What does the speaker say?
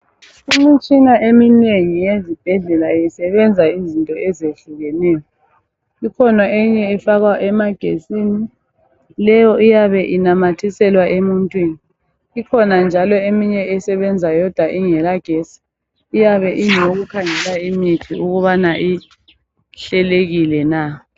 Imitshina eminengi yezibhedlela isebenza izinto ezehlukeneyo.i. Ikhona enye efakwa emagetsini. Leyo iyabe inanathiselwa emuntwini. Ikhona eminye esebenza yodwa ingelagetsi. Leyo iyabe iikhangela imithi ukuthi ihlelekile na?